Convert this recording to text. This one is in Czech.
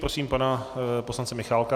Prosím pana poslance Michálka.